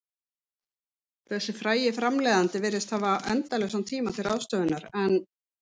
Þessi frægi framleiðandi virtist hafa endalausan tíma til ráðstöfunar, en